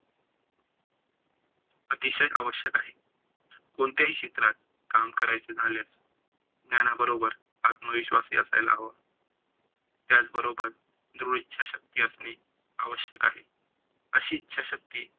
अतिशय आवश्यक आहे. कोणत्याही क्षेत्रात काम करायच झाल्यास ज्ञाना बरोबर आत्मविश्वास ही असायला हवा. त्याचबरोबर धृद इच्छाशक्ती असणे आवश्यक आहे. अशी इच्छाशक्ती